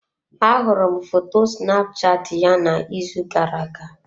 Ahụrụ m foto Snapchat ya n'izu gara-aga.